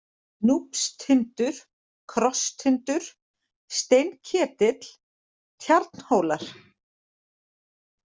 Núpstindur, Krosstindur, Steinketill, Tjarnhólar